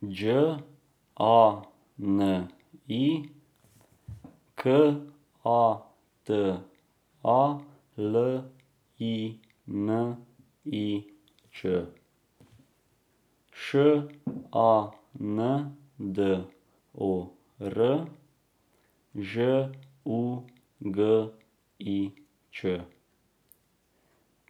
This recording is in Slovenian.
Đ A N I, K A T A L I N I Ć; Š A N D O R, Ž U G I Ć;